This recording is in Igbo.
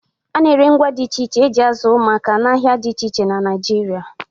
A na-ere ngwá dị iche iche e ji azụ ụmụaka n'ahịa na dị iche iche Naịjirịa.